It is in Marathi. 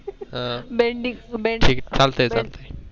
ठीक चालतंय चालतंय.